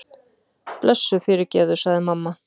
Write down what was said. Blessuð fyrirgefðu, sagði mamma.